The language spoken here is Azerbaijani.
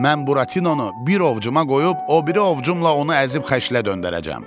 Mən Buratinonu bir ovcuma qoyub o biri ovcumla onu əzib xəşlə döndərəcəm.